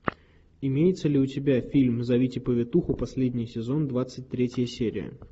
имеется ли у тебя фильм зовите повитуху последний сезон двадцать третья серия